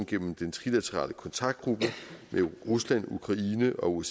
gennem den trilaterale kontaktgruppe med rusland ukraine og